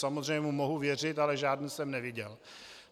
Samozřejmě mu mohu věřit, ale žádný jsem neviděl.